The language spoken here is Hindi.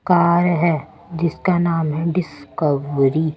कार है जिसका नाम है डिस्कवरी ---